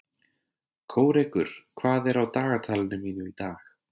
Kórekur, hvað er á dagatalinu mínu í dag?